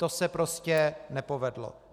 To se prostě nepovedlo.